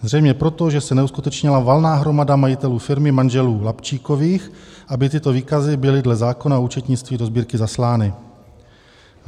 Zřejmě proto, že se neuskutečnila valná hromada majitelů firmy manželů Lapčíkových, aby tyto výkazy byly dle zákona o účetnictví do Sbírky zaslány.